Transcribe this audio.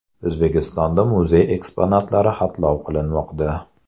O‘zbekistonda muzey eksponatlari xatlov qilinmoqda.